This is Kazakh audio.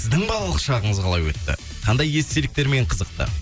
сіздің балалық шағыңыз қалай өтті қандай естеліктермен қызықты